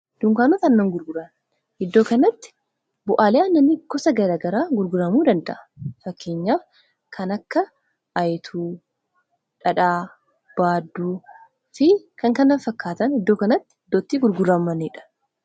dunkaanotaannan gulguran iddoo kanatti bu'aalii annani kosa gada garaa gurguramuu danda'a fakkeenyaa kan akka ayituu dhadhaa baadduu fi kankana fakkaatan iddoo kanatti doottii gurguramaniidha